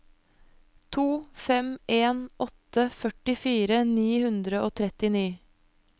to fem en åtte førtifire ni hundre og trettini